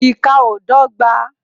Ìkà ó dọ́gba